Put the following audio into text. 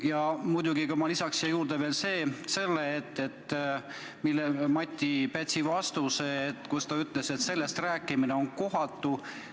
Ja muidugi lisaks ma siia juurde ka Mati Pätsi vastuse, milles ta ütles, et sellest rääkimine on kohatu.